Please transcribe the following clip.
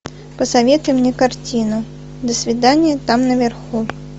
посоветуй мне картину до свидания там наверху